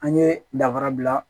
An ye danfara bila